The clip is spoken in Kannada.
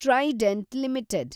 trident limited